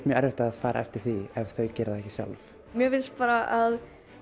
mjög erfitt að fara eftir því ef þau gera það ekki sjálf mér finnst bara að